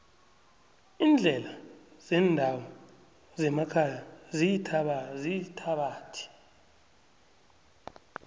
iindlela zendawo zemakhaya ziyithabathi